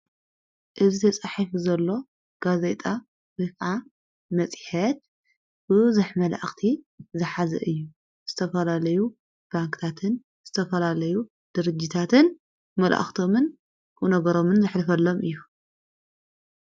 እዝ ተጻሒፍ ዘሎ ጋዘይጣ ዊቓዓ መጺሐት ብዘኅ መላእኽቲ ዘኃዚ እዩ ።ዝተፈላለዩ ባንክታትን ዝተፈላለዩ ድርጅታትን መልእኽቶምን ኡነገሮምን ዘኅልፈሎም እዩ።